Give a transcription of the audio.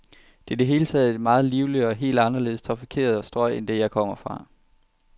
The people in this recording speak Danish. Det er i det hele taget et meget livligere, et helt anderledes tæt trafikeret strøg end det, jeg kom fra.